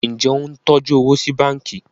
Njé o ń tọjú owo sí bánkì?